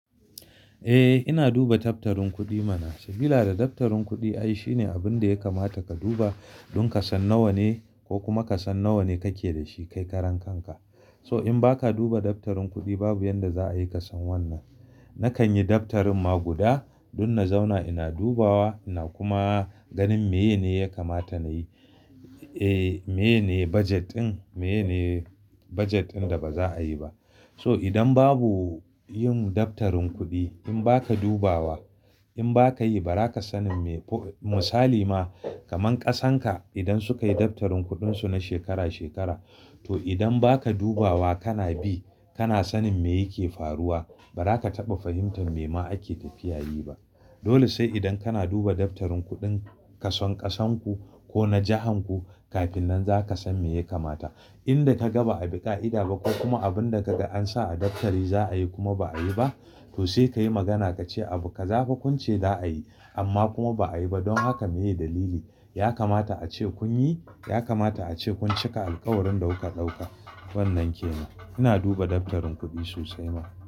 Eh, ina duba daftarin kuɗi mana. Sabila da daftarin kuɗi ai shine abin da ya kamata ka duba, don ka san nawa ne ko kuma ka san nawa ne kake da shi kai karan kanka. So in ba ka duba daftarin kuɗi babu yadda za a yi ka san wannan. Nakan yi daftarin ma guda, don na zauna ina dubawa, ina kuma ganin miye ne ya kamata nayi. Eh, miye ne bajet ɗin, miye ne bajet ɗin da ba za a yi ba. So idan babu yin daftarin kuɗi, in ba ka dubawa, in ba ka yi ba ba za ka sanin misali ma kaman ƙasan ka idan suka yi daftarin kuɗin su na shekara, shekara to idan ba ka dubawa kana bi, kana sanin me yake faruwa ba za ka taɓa fahimtar me ma ake tafiya yi ba. Dole sai idan kana duba daftarin kuɗin kason ƙasan ku ko na jahan ku, kafin nan za ka san me ya kamata. Inda ka ga ba a bi ƙa'ida ba ko kuma abin da ka ga an sa a daftari za a yi kuma ba a yi ba, to sai ka yi magana ka ce abu ka-za kun ce za a yi amma kuma ba a yi ba. Don haka meye dalili? Ya kamata a ce kun yi, ya kamata a ce kun cika alƙawarin da kuka ɗauka. Wannan kenan. Ina duba daftarin kuɗi sosai ma.